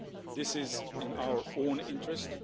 This is in our own interest.